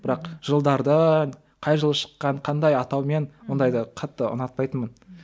бірақ жылдарды қай жылы шыққан қандай атаумен ондайды қатты ұнатпайтынмын